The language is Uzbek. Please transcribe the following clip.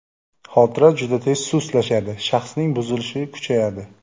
Xotira juda tez sustlashadi, shaxsning buzilishi kuchayadi.